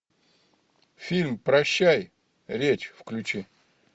фильм прощай речь включи